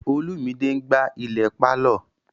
Olumide n gbá ilẹ̀ pálọ̀